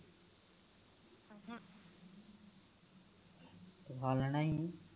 ਓ ਖਾ ਲੈਣਾ ਹੀ